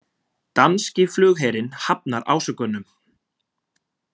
Danski flugherinn hafnar ásökunum